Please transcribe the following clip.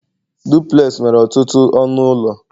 duplex nwere ọtụtụ ọnụ ụlọ